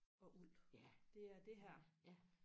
og uld det er det her